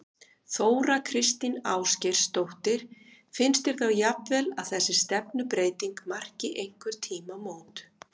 Þóra Kristín Ásgeirsdóttir: Finnst þér þá jafnvel að þessi stefnubreyting marki einhver tímamót?